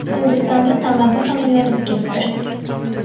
Hindistonda tamaddixona yonib ketdi.